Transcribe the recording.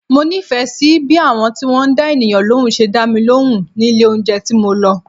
Mo nífẹ̀ẹ́ sí bí àwọn tí wọ́n dá ènìyàn lóhùn ṣe dá mi lóhùn ní ilé oúnjẹ tí mo lọ.